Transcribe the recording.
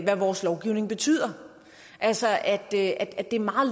hvad vores lovgivning betyder altså at det er meget